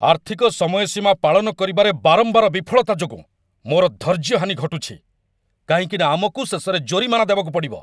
ଆର୍ଥିକ ସମୟସୀମା ପାଳନ କରିବାରେ ବାରମ୍ବାର ବିଫଳତା ଯୋଗୁଁ ମୋର ଧୈର୍ଯ୍ୟହାନି ଘଟୁଛି, କାହିଁକି ନା ଆମକୁ ଶେଷରେ ଜୋରିମାନା ଦେବାକୁ ପଡ଼ିବ।